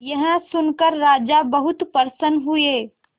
यह सुनकर राजा बहुत प्रसन्न हुए